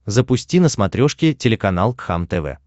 запусти на смотрешке телеканал кхлм тв